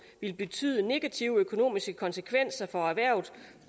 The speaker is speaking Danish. ville betyde negative økonomiske konsekvenser for erhvervet